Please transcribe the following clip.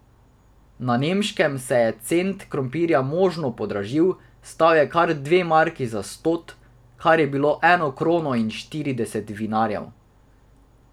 Na Nemškem se je cent krompirja močno podražil, stal je kar dve marki za stot, kar je bilo eno krono in štirideset vinarjev.